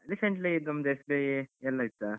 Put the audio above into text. Recently ಇದ್ ನಮ್ದು SBI ಯಲ್ಲಿ ಇತ್ತ.